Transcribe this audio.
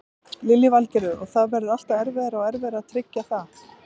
Lillý Valgerður: Og það verður alltaf erfiðara og erfiðara að tryggja það?